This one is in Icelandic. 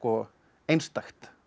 einstakt